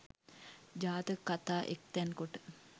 ජාතක කතා එක්තැන් කොට